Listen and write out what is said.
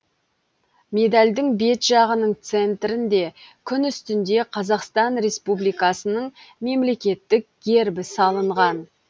медальдің бет жағының центрінде күн үстінде қазақстан республикасының мемлекеттік гербі салынған